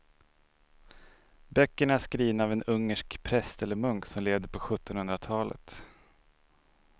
Böckerna är skrivna av en ungersk präst eller munk som levde på sjuttonhundratalet.